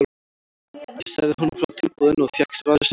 Ég sagði honum frá tilboðinu og fékk svarið sem ég vildi.